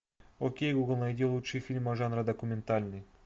окей гугл найди лучшие фильмы жанра документальный